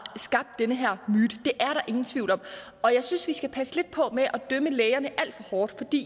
skabt den her myte det er ingen tvivl om og jeg synes vi skal passe lidt på med at dømme lægerne alt for hårdt